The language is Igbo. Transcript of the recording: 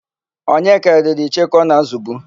Onyeka riri icheoku ọ na-ázụ̀bu.